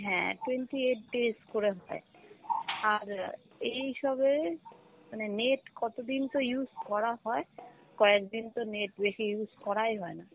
হ্যাঁ twenty eight days করে হয়, আর এইসবে মানে net কতদিন তো use করা হয়, কয়েকদিন তো net বেশি use করাই হয় না।